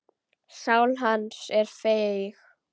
Sál hans er feig.